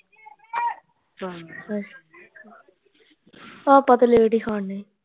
ਹਾਂ ਆਪਾਂ ਤੇ late ਈ ਖਾਣੇ